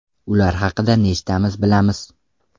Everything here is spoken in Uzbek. Ular haqida nechtamiz bilamiz?